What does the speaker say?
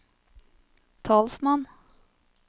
talsmann